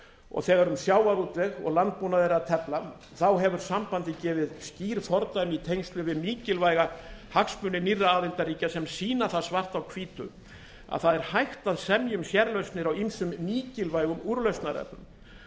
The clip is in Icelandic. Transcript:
og þegar um sjávarútveg og landbúnað er að tefla hefur sambandið gefið skýr fordæmi í tengslum við mikilvæga hagsmuni nýrra aðildarríkja sem sýna það svart á hvítu að það er hægt að semja um sérlausnir á ýmsum mikilvægum úrlausnarefnum